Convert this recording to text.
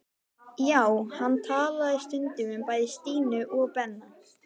Já, hann talaði stundum um bæði Stínu og Benna.